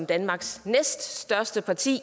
danmarks største parti